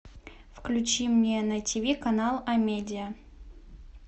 включи мне на тв канал амедия